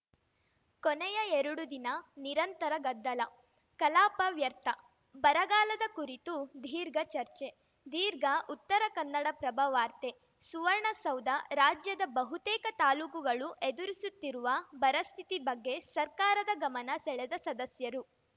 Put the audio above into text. ಕೊನೆಯ ಎರಡು ದಿನ ನಿರಂತರ ಗದ್ದಲ ಕಲಾಪ ವ್ಯರ್ಥ ಬರಗಾಲದ ಕುರಿತು ದೀರ್ಘ ಚರ್ಚೆ ದೀರ್ಘ ಉತ್ತರ ಕನ್ನಡಪ್ರಭ ವಾರ್ತೆ ಸುವರ್ಣಸೌಧ ರಾಜ್ಯದ ಬಹುತೇಕ ತಾಲೂಕುಗಳು ಎದುರಿಸುತ್ತಿರುವ ಬರ ಸ್ಥಿತಿ ಬಗ್ಗೆ ಸರ್ಕಾರದ ಗಮನ ಸೆಳೆದ ಸದಸ್ಯರು